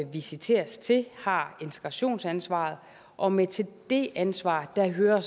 visiteres til har integrationsansvaret og med til det ansvar hører